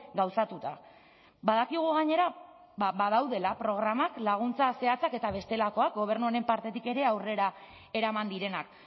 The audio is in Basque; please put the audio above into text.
gauzatuta badakigu gainera badaudela programak laguntza zehatzak eta bestelakoak gobernu honen partetik ere aurrera eraman direnak